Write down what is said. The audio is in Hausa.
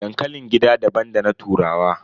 Dankalin gida daban da na turawa.